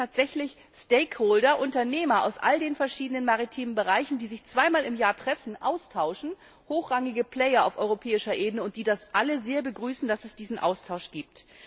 geht. Es gibt tatsächlich Stakeholder, Unternehmer aus all den verschiedenen maritimen Bereichen, die sich zweimal im Jahr treffen und sich austauschen, hochrangige Player auf europäischer Ebene, die alle sehr begrüßen, dass es diesen Austausch